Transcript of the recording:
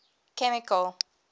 chemical